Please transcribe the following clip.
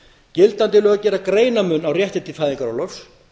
gildandi lög gera greinarmun á rétti til fæðingarorlofs